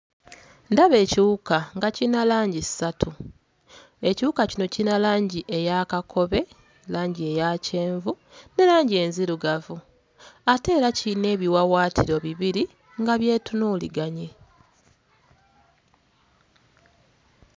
Ndaba ekiwuka nga kiyina langi ssatu ekiwuka kino kirina langi eya kakobe, langi eya kyenvu ne langi enzirugavu ate era kiyina ebiwawaatiro bibiri nga byetunuuliganye.